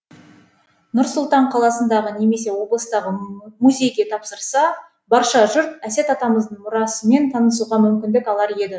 нұр сұлтан қаласындағы немесе облыстағы музейге тапсырса барша жұрт әсет атамыздың мұрасымен танысуға мүмкіндік алар еді